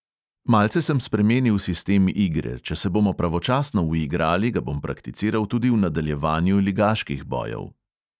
Malce sem spremenil sistem igre, če se bomo pravočasno uigrali, ga bom prakticiral tudi v nadaljevanju ligaških bojev.